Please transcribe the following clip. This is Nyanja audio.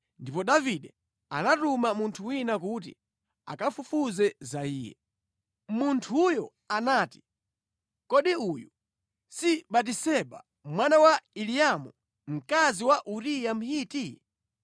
Ndipo Davide anatuma munthu wina kuti akafufuze za iye. Munthuyo anati, “Kodi uyu si Batiseba, mwana wa Eliamu, mkazi wa Uriya Mhiti?”